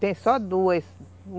Tem só duas.